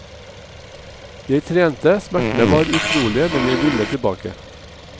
Jeg trente, smertene var utrolige, men jeg ville tilbake.